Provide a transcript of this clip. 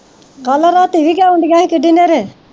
ਕਲ ਰਾਤੀ ਵੀ ਕਿਉਂ ਆਉਂਦੀਆਂ ਹੀ ਕਿਡੀ ਹਨ੍ਹੇਰੇ?